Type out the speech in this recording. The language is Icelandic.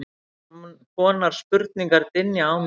konar spurningar dynja á mér.